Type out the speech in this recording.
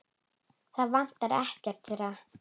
Það vantar ekkert þeirra.